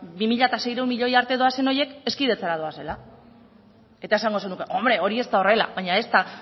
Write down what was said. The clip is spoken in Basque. bi mila seiehun eta hirurogeita lau milioi arte doazen horiek hezkidetzara doazela eta esango zenuke hori ez da horrela baina ez da